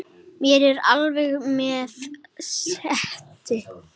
Mér er alvara með þessu.